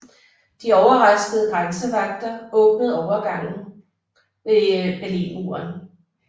De overraskede grænsevagter åbnede overgangene ved Berlinmuren